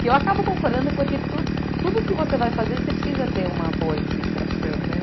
Que eu acabo concordando é porque tudo, tudo que você vai fazer, você precisa ter uma boa administração, né?